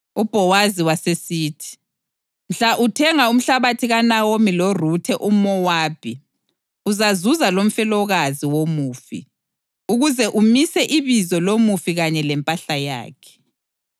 UBhowazi wasesithi, “Mhla uthenga umhlabathi kuNawomi loRuthe umʼMowabi, uzazuza lomfelokazi womufi, ukuze umise ibizo lomufi kanye lempahla yakhe.”